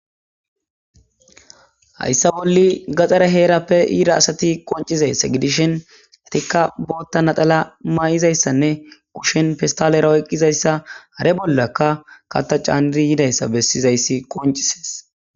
Hayssa bolli gaxare heerappe iira asati qoncizayssa gidishin atikka bootta naxala ma'izayssanne kushen fistalera oyqqizayssa hare bollakka kata caaniri yidayssa bessizayssi qoncisees